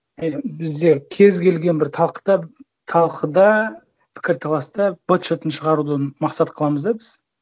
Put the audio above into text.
і бізде кез келген бір талқыда пікірталаста быт шытын шығаруды мақсат қыламыз да біз